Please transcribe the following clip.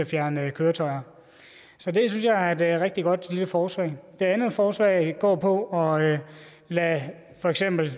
fjerne køretøjer så det synes jeg er et rigtig godt lille forslag det andet forslag går på at lade for eksempel